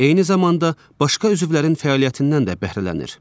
Eyni zamanda başqa üzvlərin fəaliyyətindən də bəhrələnir.